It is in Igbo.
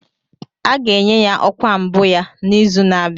A ga-enye ya ọkwa mbụ ya n'izu na-abịa